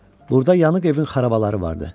Burada yanıq evin xarabaları vardı.